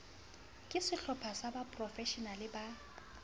ke sehlopha sa baprofeshenale ba